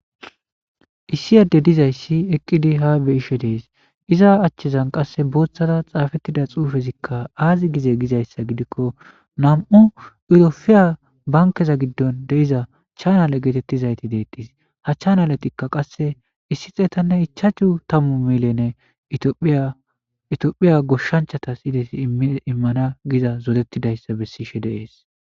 issi adey dizaysi Eqidi ha betishe Des iza achan Qaseka Bothara xafetida xuffe Azi gize Gizaysa gidiko Namu eropiya bankeza Gidon diza Chanalle getetizaysi De'etes ha chanalleti qase Issi xettane ichashu tamu Millene bira etophiya goshanchatas Imana Giza zoretidaysa Bessishe de'es